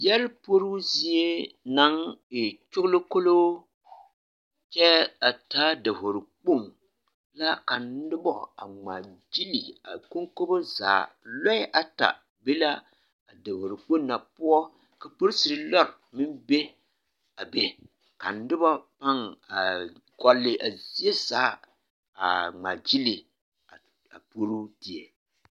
Yɛre puoroo zie naŋ e kyoglokoloo kyɛɛ a taa dovori kpoŋ la ka nobɔ a ngmaagyile a koŋkobo zaa lɔɛ ata be la a dovore kpoŋ na poɔ ka poriserre lɔre meŋ be a be ka nobɔ paŋ aa gɔlle a zie zaa aa ngmaagyile a puoroo die.